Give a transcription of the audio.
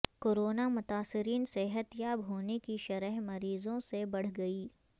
corona متاثرین صحت یاب ہونے کی شرح مریضوں سے بڑھ گئی